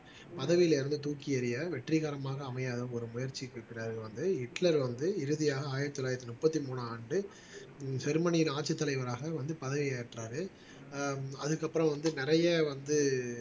பதவியில இருந்து தூக்கி எறிய வெற்றிகரமாக அமையாத ஒரு முயற்சிக்கு வந்து ஹிட்லர் வந்து இறுதியாக ஆயிரத்தி தொள்ளாயிரத்தி முப்பத்தி மூணாம் ஆண்டு ஜெர்மனியில் ஆட்சித் தலைவராக வந்து பதவி ஏற்றாரு ஆஹ் அதுக்கப்புறம் வந்து நிறைய வந்து